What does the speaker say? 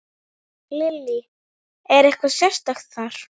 Lillý: Er eitthvað sérstakt þar?